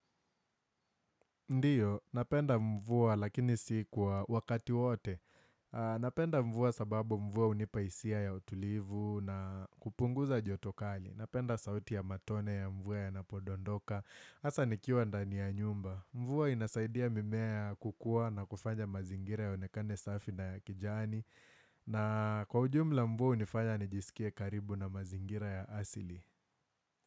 Ndio, napenda mvua lakini si kwa wakati wote. Napenda mvua sababu mvua hunipa hisia ya utulivu na kupunguza joto kali. Napenda sauti ya matone ya mvua ya napondondoka. Hasa nikiwa ndani ya nyumba. Mvua inasaidia mimea kukua na kufanya mazingira yaonekane safi na ya kijani. Na kwa ujumla mvua hunifanya nijisikie karibu na mazingira ya asili.